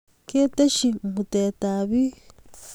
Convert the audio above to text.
ketesyi mutetab biik